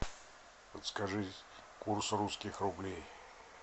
подскажи курс русских рублей